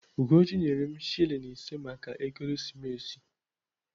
Ugochi nyere m shilling ise maka ekeresimesi.